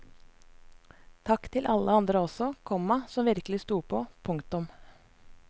Takk til alle andre også, komma som virkelig stod på. punktum